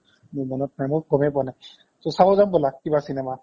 মোৰ মনত নাই মই গময়ে পোৱা নাই so চাব জাম ব'লা কিবা cinema